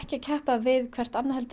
að keppa við hvert annað heldur